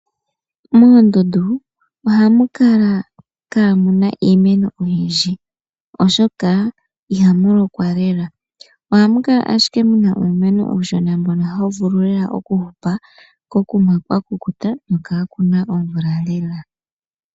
Moondundu ohamu kala mu na iimeno oyindji, oshoka ihamu lokwa lela. Ohamu kala ashike mu na uumeno uushona mbono hawu vulu lela oku hupa kokuma kwakukuta nokaaku na omvula lela.